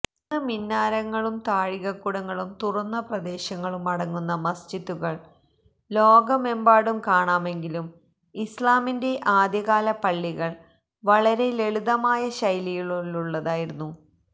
ഇന്ന് മിനാരങ്ങളും താഴികക്കുടങ്ങളും തുറന്ന പ്രദേശങ്ങളും അടങ്ങുന്ന മസ്ജിദുകൾ ലോകമെമ്പാടും കാണാമെങ്കിലും ഇസ്ലാമിന്റെ ആദ്യകാലത്തെ പള്ളികൾ വളരെ ലളിതമായ ശൈലിയിലുള്ളതായിരുന്നു